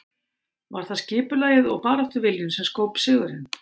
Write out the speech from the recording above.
Var það skipulagið og baráttuviljinn sem skóp sigurinn?